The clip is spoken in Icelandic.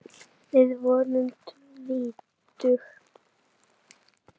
Við vorum tvítug.